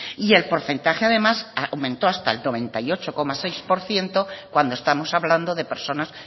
y el porcentaje además aumentó hasta el noventa y ocho coma seis por ciento cuando estamos hablando de personas